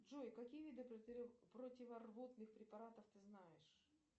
джой какие виды противорвотных препаратов ты знаешь